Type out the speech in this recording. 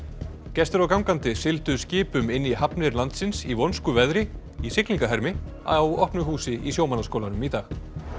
gestir og gangandi sigldu skipum inn í hafnir landsins í vonskuveðri í á opnu húsi í Sjómannaskólanum í dag